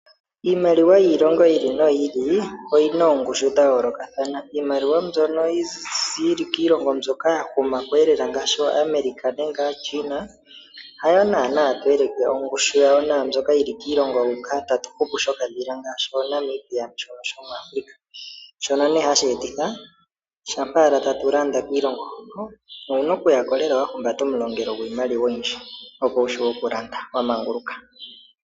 Iimaliwa yiilongo yi ili noyi ili oyina oongushu dha yoolokathana. Iimaliwa mbyono yili kiilongo mbyoka ya huma kweelela ngaashi ooAmerica nenge aaChina hayo naana to eleke ongushu yayo naambyoka yili kiilongo huka tatu hupu shokadhila ngaashi ooNamibia shono shomuAfrica, shono nee hashi etitha shampa owala tatu landa kiilongo hono owuna okuya ko lela wa humbata omulongelo gwiimaliwa oyindji opo wu shiwe okulanda wa manguluka.